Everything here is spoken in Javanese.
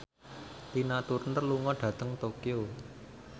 Tina Turner lunga dhateng Tokyo